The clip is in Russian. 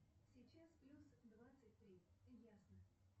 джой погода в ближайшее время